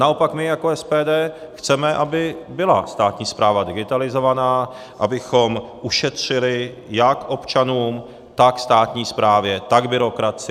Naopak my jako SPD chceme, aby byla státní správa digitalizovaná, abychom ušetřili jak občanům, tak státní správě, tak byrokracii.